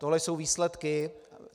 Tohle jsou výsledky.